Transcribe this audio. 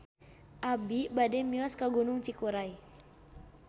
Abi bade mios ka Gunung Cikuray